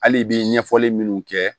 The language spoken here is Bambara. Hali i bi ɲɛfɔli minnu kɛ